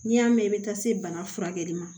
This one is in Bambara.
N'i y'a mɛn i bɛ taa se bana furakɛli ma